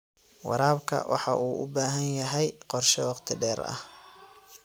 Waraabka waxa uu u baahan yahay qorshe wakhti dheer ah.